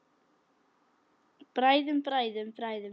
Bræðum, bræðum, bræðum.